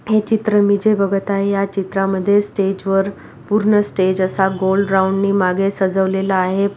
ये चित्र मी जे बघत आहे या चित्रामध्ये स्टेजवर पुर्ण स्टेज असा गोल राउंडने माग सजवलेला आहे.